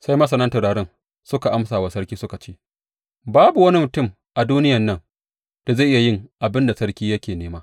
Sai masanan taurarin suka amsa wa sarki suka ce, Babu wani mutum a duniyan nan da zai iya yin abin da sarki yake nema!